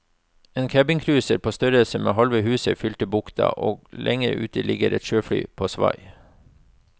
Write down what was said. En cabincruiser på størrelse med halve huset fyller bukta, og lenger ute ligger et sjøfly på svai.